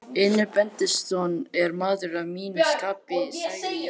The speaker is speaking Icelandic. Einar Benediktsson er maður að mínu skapi, sagði Jóhann.